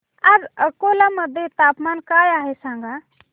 आज अकोला मध्ये तापमान काय आहे सांगा